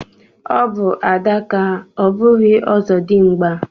Ọbụ adaka ọ bụghị ọzọdimgba